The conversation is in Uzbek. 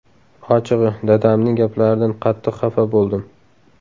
Ochig‘i, dadamning gaplaridan qattiq xafa bo‘ldim.